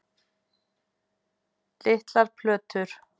Litlar plötur